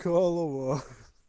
ла-ла-ла